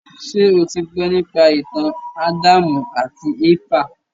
Ṣé o ti gbọ́ nípa ìtàn Ádámù àti Éfà?